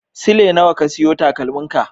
Sule nawa ka siyo takalmin ka?